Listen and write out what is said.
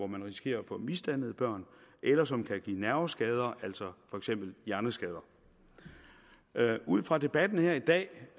man risikerer at få misdannede børn eller som kan give nerveskader altså for eksempel hjerneskader ud fra debatten her i dag